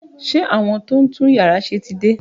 Ṣé àwọn tó ń tún yàrá ṣe ti dé?